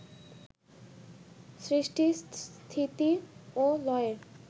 সৃষ্টি, স্থিতি ও লয়ের